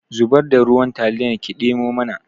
Zubar da ruwan taliyar ki ɗemo mana